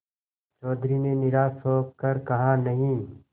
चौधरी ने निराश हो कर कहानहीं